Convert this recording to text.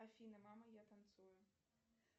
афина мама я танцую